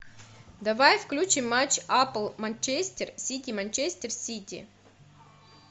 давай включим матч апл манчестер сити манчестер сити